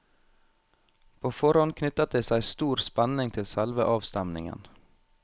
På forhånd knyttet det seg stor spenning til selve avstemningen.